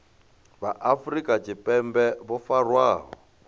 vha afrika tshipembe vho farwaho